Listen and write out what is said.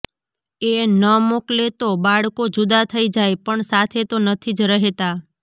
એ ન મોકલે તો બાળકો જુદાં થઈ જાય પણ સાથે તો નથી જ રહેતાં